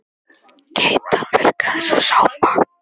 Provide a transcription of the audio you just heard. Keytan virkaði eins og sápa.